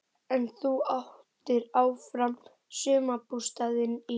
En þú áttir áfram sumarbústaðinn í